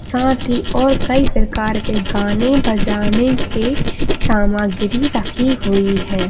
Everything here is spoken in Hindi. साथ ही और कई प्रकार के गाने बजाने के सामग्री रखी हुई है।